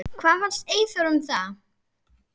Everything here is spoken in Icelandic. Hvað fannst Eyþóri um það?